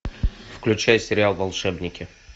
включай сериал волшебники